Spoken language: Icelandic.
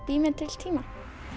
bý mér til tíma